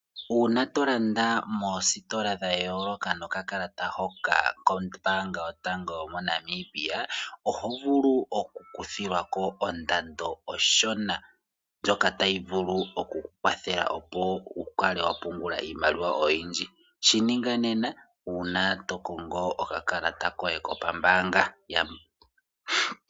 Uuna tolanda moositola dhayooloka nokalalata hoka kombaanga yotango yomoNamibia, oho vulu okukuthilwako ondando onshona ndjoka tayi vulu okukukwathela opo wukale wapungula iimaliwa oyindji. Shininga nena uuna tokongo okakalata koye kombaanga.